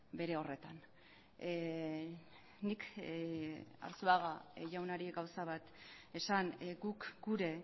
bere horretan nik arzuaga jaunari gauza bat esan guk gure